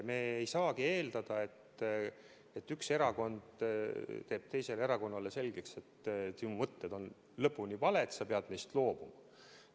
Me ei saagi eeldada, et üks erakond teeb teisele erakonnale selgeks, et sinu mõtted on lõpuni valed, sa pead loobuma.